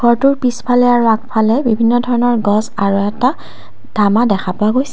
কোঠাটোৰ পিছফালে আৰু আগফালে বিভিন্ন ধৰণৰ গছ আৰু এটা টামা দেখা পোৱা গৈছে।